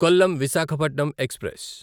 Kollam Visakhapatnam express